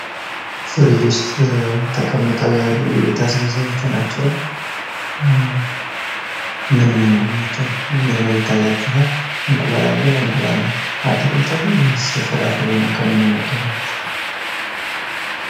ፍሪጅ ውስጥ የተቀመጠ የቤት አስቤዛዎች ናቸው። ምን ምንድን ናቸው? ምን ምን ይታያችኋላ? እንቁላል አለ? አትክልት ነው ወይስ ፍራፍሬ ከምን ይመደባል?